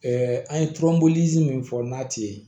an ye tɔnbɔli min fɔ n'a ti ye